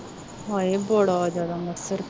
ਹਾਏ ਬੜਾ ਜਿਆਦਾ ਮੱਛਰ